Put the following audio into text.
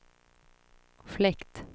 fläkt